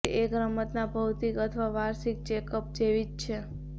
તે એક રમતના ભૌતિક અથવા વાર્ષિક ચેક અપ જેવી જ છે